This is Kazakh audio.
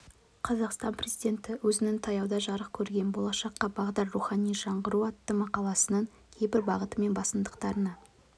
қазақстан президенті өзінің таяуда жарық көрген болашаққа бағдар рухани жаңғыру атты мақаласының кейбір бағыты мен басымдықтарына